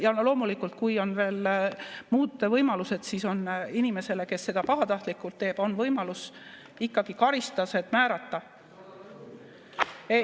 Ja loomulikult, kui on veel muud võimalused, siis on inimesele, kes seda pahatahtlikult teeb, võimalus ikkagi karistused määrata.